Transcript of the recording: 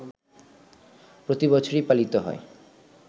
প্রতিবছরই পালিত হয়